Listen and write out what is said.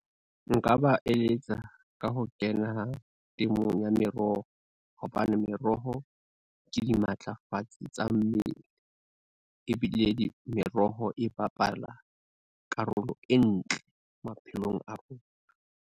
Nka ba eletsa ka ho kena temong ya meroho, hobane meroho ke dimatlafatsi tsa mmele, ebile meroho e bapala karolo e ntle maphelong a rona.